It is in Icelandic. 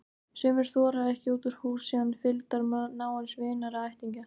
Sumir þora ekki út úr húsi án fylgdar náins vinar eða ættingja.